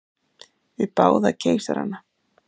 Við báða keisarana.